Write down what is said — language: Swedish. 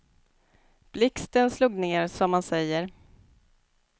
Blixten slog ner, som man säger.